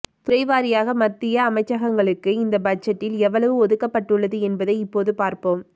துறை வாரியாக மத்திய அமைச்சகங்களுக்கு இந்த பட்ஜெட்டில் எவ்வளவு ஒதுக்கப்பட்டுள்ளது என்பதை இப்போது பார்ப்போம்